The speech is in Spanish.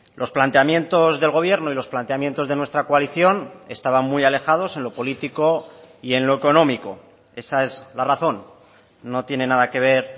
los planteamientos del gobierno y los planteamientos de nuestra coalición estaban muy alejados en lo político y en lo económico esa es la razón no tiene nada que ver